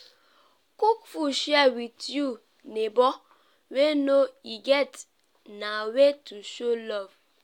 cook food share wit you nebor wey no e get na way to show love.